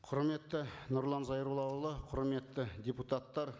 құрметті нұрлан зайроллаұлы құрметті депутаттар